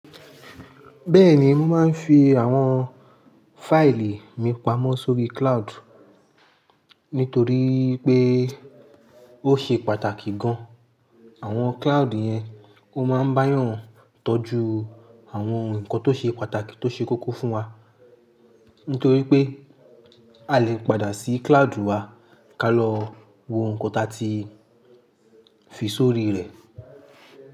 Bẹ́ẹ̀ni mo máa ń fi àwọn fáìlì mi pamọ́ sórí cloud nítorí pé ó ṣe pàtàkì gan an. Àwọn cloud yẹn ó máa ń bá yàn tọ́jú àwọn nǹkan tó ṣe pàtàkì tó ṣe kókó fún wa nítorí pé a lè padà sí cloud wa ká lọ wo nǹkan tí a ti fi sórí rẹ̀.